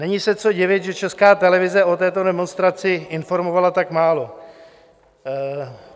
Není se co divit, že Česká televize o této demonstraci informovala tak málo.